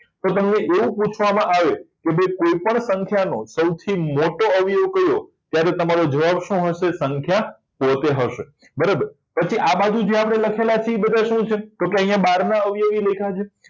તમને એવું પૂછવામાં આવે કે બે કોઈપણ સંખ્યાનો સૌથી મોટો અવયવ કયો ત્યારે તમારો જવાબ શું હશે સંખ્યા પોતે હશે બરાબર પછી આ બાજુ છે આપણે લખેલા છે એ શું છે તો અહીંયા બાર અવયવી લખ્યા છે